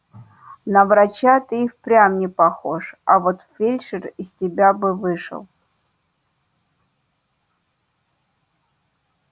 на врача ты и впрямь не похож а вот фельдшер из тебя бы вышел